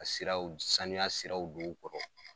Ka siraw saniya siraw don u kɔrɔ.